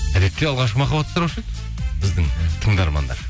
әдетте алғашқы махаббат туралы сұраушы еді біздің тыңдармандар